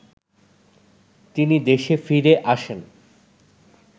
তিনি দেশে ফিরে আসেন